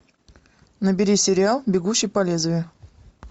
набери сериал бегущий по лезвию